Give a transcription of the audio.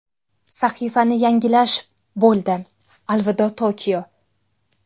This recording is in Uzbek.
Sahifani yangilash Bo‘ldi, alvido Tokio!